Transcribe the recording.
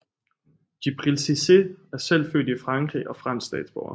Djibril Cissé er selv født i Frankrig og fransk statsborger